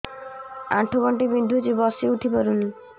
ଆଣ୍ଠୁ ଗଣ୍ଠି ବିନ୍ଧୁଛି ବସିଉଠି ପାରୁନି